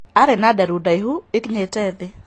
Arĩ na nderu ndaihu ikinyĩte thĩ.